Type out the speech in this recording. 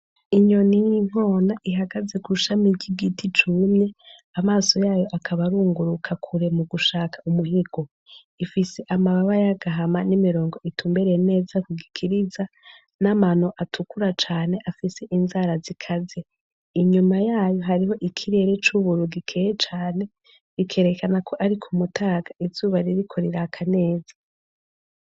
Inyoni y'inkona ihagaze ku shami ry'igiti cumye, amaso yayo akaba arunguruka kure mu gushaka umuhigo, ifise amababa y'agahama n'imirongo itumbereye neza ku gikiriza, n'amano atukura cane afise inzara zikaze, inyuma yayo hari ikirere c'ubururu gikeye cane, bikerekana ko ari ku mutaga izuba ririko riraka neza.